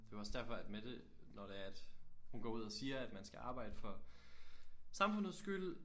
Det var også derfor at Mette når det er at hun går ud og siger at man skal arbejde for samfundets skyld